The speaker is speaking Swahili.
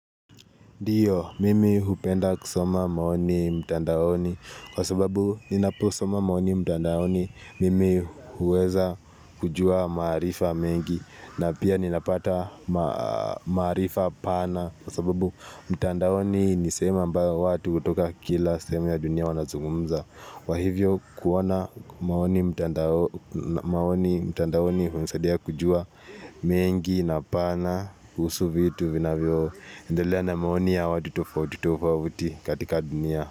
Ndio, mimi hupenda kusoma maoni mtandaoni kwa sababu ninaposoma maoni mtandaoni mimi huweza kujua maarifa mengi na pia ninapata maarifa pana kwa sababu mtandaoni ni sehemu ambayo watu hutoka kila sehemu ya dunia wanazungumza. Kwa hivyo kuona maoni mtandaoni humsadia kujua mengi na pana kuhusu vitu vinavyo endelea na maoni ya watu tofauti tofauti katika dunia.